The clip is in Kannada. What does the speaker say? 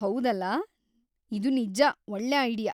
ಹೌದಲ್ಲ, ಇದು ನಿಜ್ಜ ಒಳ್ಳೆ ಐಡಿಯಾ.